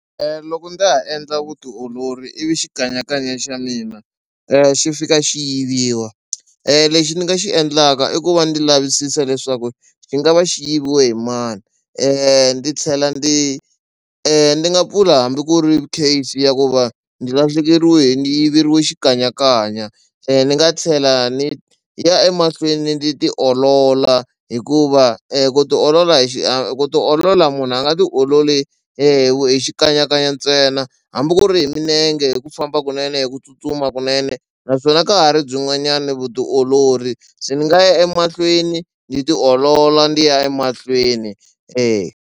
Loko ndza ha endla vutiolori ivi xikanyakanya xa mina xi fika xi yiviwa lexi ni nga xi endlaka i ku va ndzi lavisisa leswaku xi nga va xi yiviwe hi mani ni tlhela ni ni nga pfula hambi ku ri case ya ku va ni lahlekeriwe ni yiveriwi xikanyakanya ni nga tlhela ni ya emahlweni ndzi tiolola hikuva ku tiolola hi xi ku tiolola munhu a nga tiololi hi xikanyakanya ntsena hambi ku ri hi milenge hi ku famba kunene hi ku tsutsuma kunene naswona ka ha ri byin'wanyana vutiolori ndzi nga ya emahlweni ni tiolola ndi ya emahlweni .